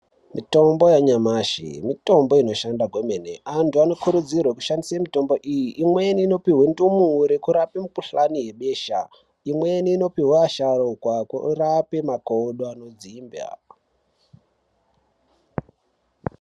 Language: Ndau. Mitombo yanyamashi mitombo inoshanda kwemene antu anokurudzirwa kushandise mitombo iyi imweni inopuhwe ndumure kurape mikuhlani yebosha imweni inopihwa vasharukwa kurape makodo anodzimba.